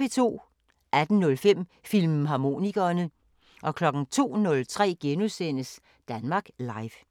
18:05: Filmharmonikerne 02:03: Danmark Live *